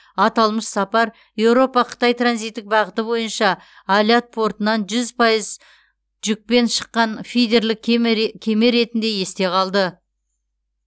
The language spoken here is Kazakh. аталмыш сапар еуропа қытай транзиттік бағыты бойынша алят портынан жүз пайыз жүкпен шыққан фидерлік кеме ретінде есте қалды